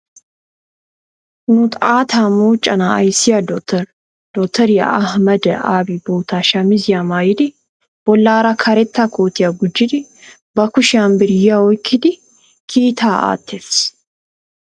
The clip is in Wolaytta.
Nu xaatta moconaa ayissiya dotoriya Ahameda Abi bootta shamiziya maayidi bollaara karetta kootiya gujjidi ba kushiyan biiriya oyikkidi kiitaa aattees.